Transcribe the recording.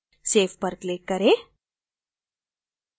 save पर click करें